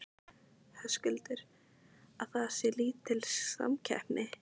Höskuldur: Að það sé lítil samkeppni?